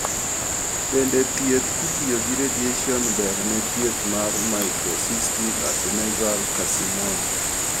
Bende thieth kitiyo gi radiation ber ne thieth mar microcystic adnexal carcinoma?